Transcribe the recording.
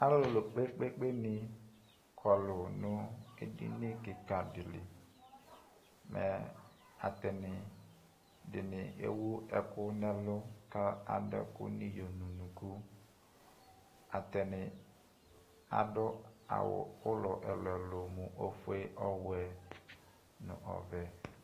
Alʋlʋ kpekpekpe ni kɔlʋ nʋ edini kika di li Ɛ, atani di ni ewu ɛkʋ nɛlʋ kʋ adʋ ɛkʋ niyo nʋ unuku Atani adʋ awʋ ʋlɔ ɛlʋɛlʋ, mʋ ofue, ɔwɛ nʋ ɔvɛ